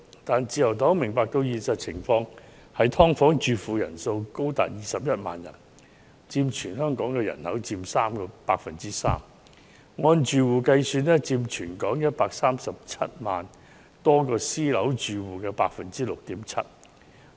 然而，自由黨明白現實情況：居於"劏房"的人口高達21萬人，佔全港人口 3%； 按住戶計算更佔全港137萬多個私樓單位住戶的 6.7%。